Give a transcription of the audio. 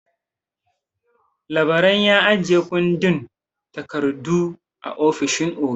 Labaran ya ajiye kundin takardu a ofishin oga.